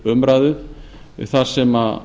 þriðja umræða þar sem